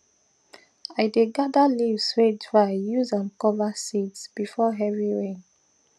i dey gather leaves way dried use am cover seeds before heavy rain